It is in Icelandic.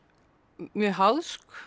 mjög